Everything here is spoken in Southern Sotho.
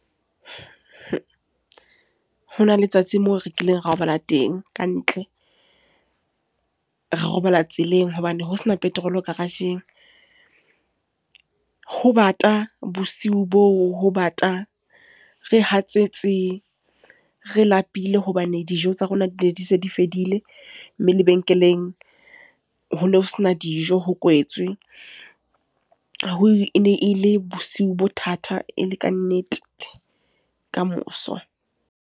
Ha hona letsatsi moo rekileng robala teng kantle. Re robala tseleng. Hobane ho sena petrol garage-eng. Ho bata, bosiu boo ho bata. Re hatsetse, re lapile, hobane dijo tsa rona di ne di se di fedile. Mme lebenkeleng ho no se na dijo, ho kwetswe. Ho e ne e le bosiu bo thata e le kannete, kamoso.